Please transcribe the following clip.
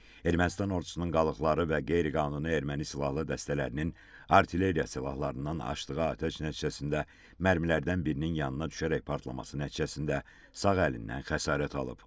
Ermənistan ordusunun qalıqları və qeyri-qanuni erməni silahlı dəstələrinin artilleriya silahlarından açdığı atəş nəticəsində mərmilərdən birinin yanına düşərək partlaması nəticəsində sağ əlindən xəsarət alıb.